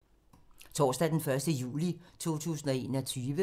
Torsdag d. 1. juli 2021